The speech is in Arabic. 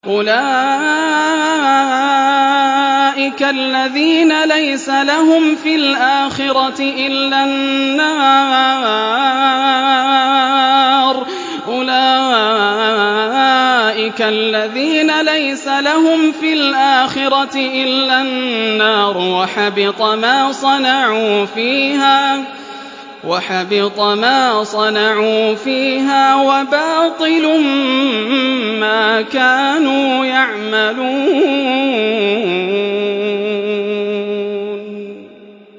أُولَٰئِكَ الَّذِينَ لَيْسَ لَهُمْ فِي الْآخِرَةِ إِلَّا النَّارُ ۖ وَحَبِطَ مَا صَنَعُوا فِيهَا وَبَاطِلٌ مَّا كَانُوا يَعْمَلُونَ